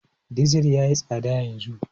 Dizir ya yi tsada yanzu.